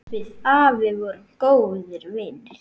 Við afi vorum góðir vinir.